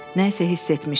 Nə isə hiss etmişdi.